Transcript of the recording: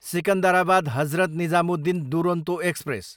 Secunderabad, Hazrat Nizamuddin Duronto express